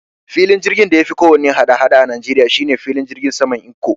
Filin jirgin da yafi kowanne hada-hada a Nigeria shine filin jirgin saman Ikko